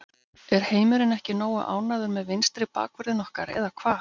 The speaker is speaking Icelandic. Er heimurinn ekki nógu ánægður með vinstri bakvörðinn okkar eða hvað?